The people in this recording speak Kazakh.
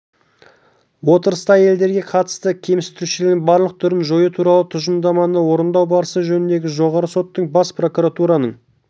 отырыста әйелдерге қатысты кемсітушіліктің барлық түрін жою туралы тұжырымдаманы орындау барысы жөніндегі жоғарғы соттың бас прокуратураның